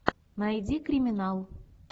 найди криминал